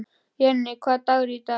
Jenni, hvaða dagur er í dag?